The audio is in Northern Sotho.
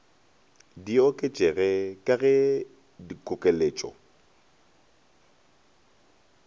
di oketšege ka ge dikokeletše